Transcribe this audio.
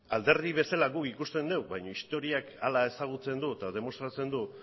alderdi bezala guk ikusten dugu baina historiak hala ezagutzen du eta demostratzen du